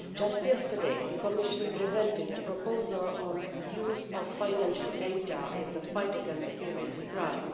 Just yesterday, the Commission presented a proposal on use of financial data in the fight against serious crime.